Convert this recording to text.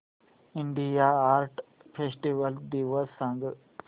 India art festival दिवस सांग